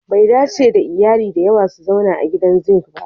Bai dace da iyali da yawa su zauna a gidan zink ba